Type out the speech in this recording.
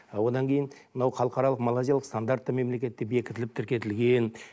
а одан кейін мынау халықаралық малайзиялық стандартты мемлекетте бекітіліп тіркетілген